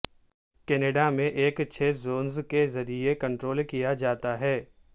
Canada میں ایک چھ زونز کے ذریعے کنٹرول کیا جاتا ہے